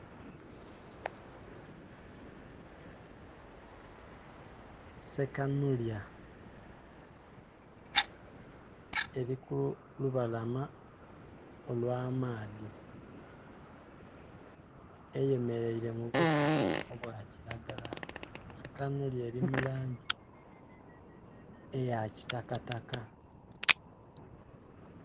Sekanhulya eli ku lubalama olw'amaadhi eyemeleile mu busubi obwa kilagala, sekanhulya eli mu langi eya kitakataka.